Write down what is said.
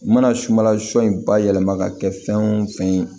U mana sumala sɔ in bayɛlɛma ka kɛ fɛn wo fɛn ye